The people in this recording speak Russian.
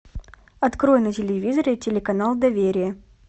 открой на телевизоре телеканал доверие